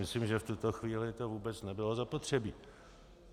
Myslím, že v tuto chvíli to vůbec nebylo zapotřebí.